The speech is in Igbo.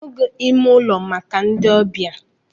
Arụghi ime ụlọ abụghị maka ndị ọbịa.